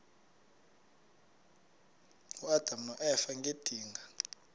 uadam noeva ngedinga